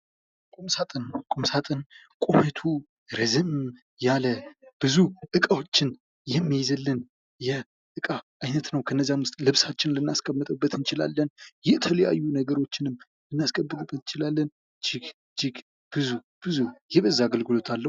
ቁምሳጥን ቁምሳጥን ቁመቱ ረዘም ያለ ብዙ እቃዎችን የሚይዝልን የእቃ አይነት ነው ።ከነዛም ውስጥ ልብሳችንን ልናስቀምጥ እንችላለን የተለያዩ ነገሮችንም ልናስቀምጥበት እንችላለን እጅግ ብዙ ብዙ የበዛ አግልግሎት አለው።